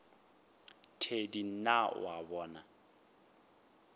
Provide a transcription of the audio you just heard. thedi na o a bona